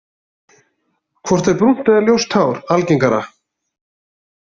Hvort er brúnt eða ljóst hár algengara?